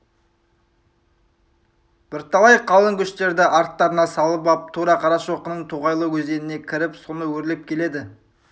бірталай қалың көштерді арттарына салып ап тура қарашоқының тоғайлы өзеніне кіріп соны өрлеп келеді